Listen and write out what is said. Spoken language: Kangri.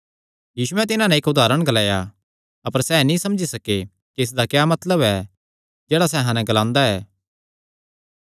यीशुयैं तिन्हां नैं इक्क उदारण ग्लाया अपर सैह़ नीं समझे कि इसदा क्या मतलब ऐ जेह्ड़ा सैह़ अहां नैं ग्लांदा ऐ